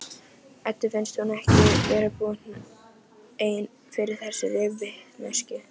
Eddu finnst hún ekki geta búið ein yfir þessari vitneskju.